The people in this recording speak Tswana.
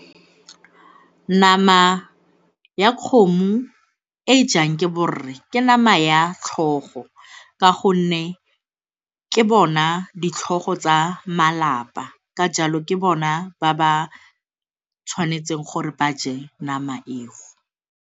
Nama ya kgomo e e jang ke borre ke nama ya tlhogo ka gonne ke bona ditlhogo tsa malapa ka jalo ke bona ba ba tshwanetseng gore ba je nama eo.